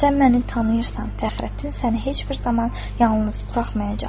Sən məni tanıyırsan, Fəxrəddin səni heç bir zaman yalnız buraxmayacaqdır.